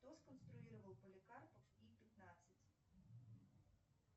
кто сконструировал поликарпов и пятнадцать